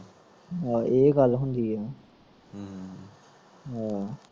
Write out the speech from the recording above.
ਆਹੋ ਏਹ ਗੱਲ ਹੁੰਦੀ ਆ ਹਮ ਹਮ